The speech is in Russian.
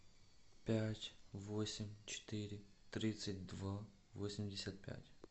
пять восемь четыре тридцать два восемьдесят пять